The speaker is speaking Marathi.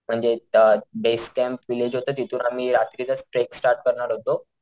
म्हणजे त बेस कॅम्प व्हिलेज होत तिथून आम्ही रात्रीच ट्रेक स्टार्ट करणार होतो,